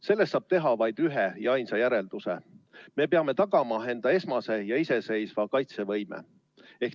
Sellest saab teha vaid ühe ja ainsa järelduse: me peame tagama enda esmase ja iseseisva kaitsevõime.